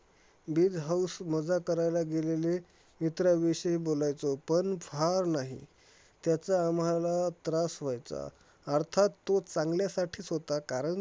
बीज हाऊस मजा करायला गेलेले मित्राविषयी बोलायचो. पण फार नाही, त्याचा आम्हाला त्रास व्हायचा. अर्थात तो चांगल्यासाठीचं होता, कारण